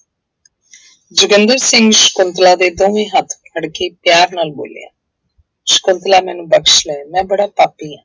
ਜੋਗਿੰਦਰ ਸਿੰਘ ਸਕੁੰਤਲਾ ਦੇ ਦੋਵੇਂ ਹੱਥ ਫੜਕੇ ਪਿਆਰ ਨਾਲ ਬੋਲਿਆ ਸਕੁੰਤਲਾ ਮੈਨੂੰ ਬਖ਼ਸ ਲੈ ਮੈਂ ਬੜਾ ਪਾਪੀ ਹਾਂ।